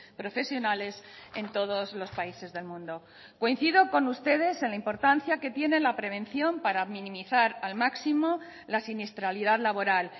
profesionales en todos los países del mundo coincido con ustedes en la importancia que tiene la prevención para minimizar al máximo la siniestralidad laboral